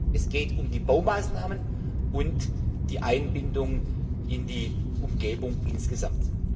Es geht um die Baumaßnahmen und die Einbindung in die Umgebung insgesamt.